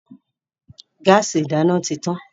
Gáàsì ìdáná ti tan.